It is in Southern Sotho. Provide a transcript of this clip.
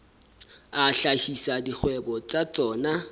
a hlahisa dikgwebo tsa tsona